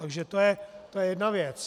Takže to je jedna věc.